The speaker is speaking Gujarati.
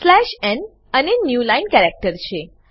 સ્લેશ ન એ ન્યુ લાઈન કેરેક્ટર છે